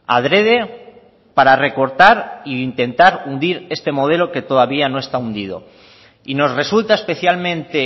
adrede para recortar e intentar hundir este modelo que todavía no está hundido y nos resulta especialmente